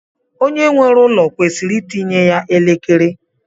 Onye nwere ụlọ kwesịrị itinye ya elekere.